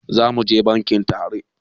Zamuje bankin tare